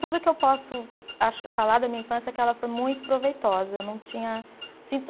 Tudo que eu posso acho, falar da minha infância é que ela foi muito proveitosa. Eu não tinha sinto